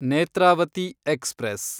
Netravati express